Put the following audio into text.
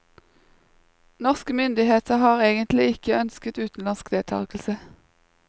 Norske myndigheter har egentlig ikke ønsket utenlandsk deltagelse.